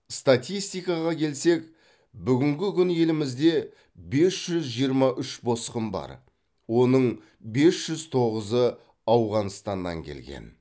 статистикаға келсек бүгінгі күні елімізде бес жүз жиырма үш босқын бар оның бес жүз тоғызы ауғанстаннан келген